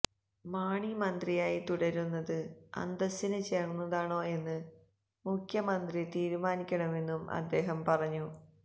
മാണി മന്ത്രിയായി തുടരുന്നത് അന്തസിന് ചേര്ന്നതാണോ എന്ന് മുഖ്യമന്ത്രി തീരുമാനിക്കണമെന്നും അദ്ദേഹം പറഞ്ഞു